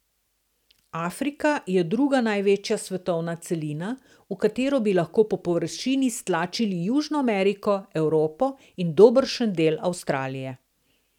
Afrika je druga največja svetovna celina, v katero bi lahko po površini stlačili Južno Ameriko, Evropo in dobršen del Avstralije.